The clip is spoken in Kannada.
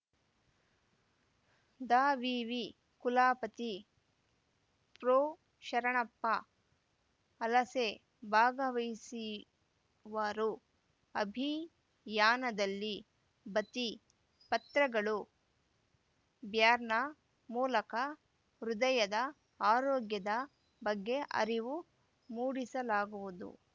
ದಾವಿವಿ ಕುಲಪತಿ ಪ್ರೊಶರಣಪ್ಪ ಹಲಸೆ ಭಾಗವಹಿಸಿವರು ಅಭಿಯಾನದಲ್ಲಿ ಭಿತ್ತಿ ಪತ್ರಗಳು ಬ್ಯಾರ್ನ ಮೂಲಕ ಹೃದಯದ ಆರೋಗ್ಯದ ಬಗ್ಗೆ ಅರಿವು ಮೂಡಿಸಲಾಗುವುದು